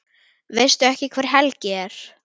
Veistu ekki hver Helgi er?